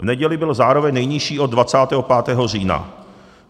V neděli byl zároveň nejnižší od 25. října.